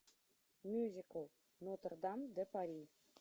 мюзикл нотр дам де пари